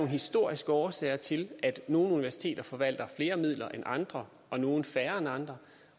historiske årsager til at nogle universiteter forvalter flere midler end andre og nogle færre end andre